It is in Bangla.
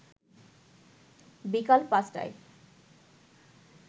বিকাল ৫টায়